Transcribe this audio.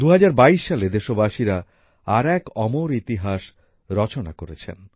২০২২ সালে দেশবাসীরা আর এক অমর ইতিহাস রচনা করেছেন